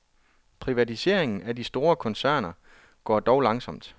Privatiseringen af de store koncerner går dog langsomt.